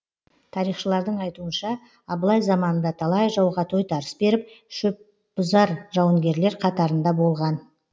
тарихшылардың айтуынша абылай заманында талай жауға тойтарыс беріп шөпбұзар жауынгерлер қатарында болған